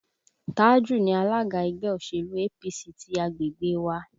Tájù ni alága ẹgbẹ́ òṣèlú APC ti agbègbè wa